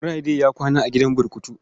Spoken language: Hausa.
Friday ya kwana a gidan burkutu.